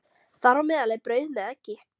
Þar á meðal er brauð með eggi.